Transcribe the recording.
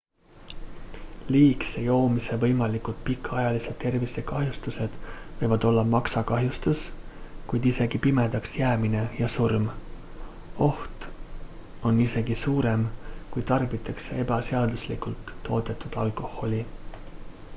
liigse joomise võimalikud pikaajalised tervisekahjustused võivad olla maksakahjustus kuid isegi pimedaks jäämine ja surm oht on isegi suurem kui tarbitakse ebaseaduslikult toodetud alkoholi